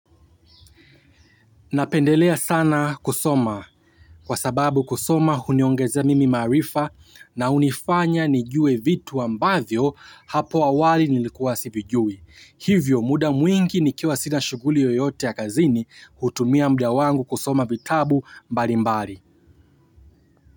Napendelea sana kusoma kwa sababu kusoma huniongeza mimi maarifa na hunifanya nijue vitu ambavyo hapo awali nilikuwa sivijui. Hivyo muda mwingi nikiwa sina shughuli yoyote ya kazini hutumia muda wangu kusoma vitabu mbali mbali.